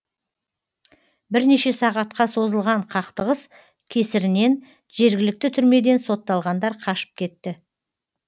бірнеше сағатқа созылған қақтығыс кесірінен жергілікті түрмеден сотталғандар қашып кетті